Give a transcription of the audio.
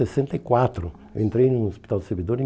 sessenta e quatro. Eu entrei no Hospital do Servidor em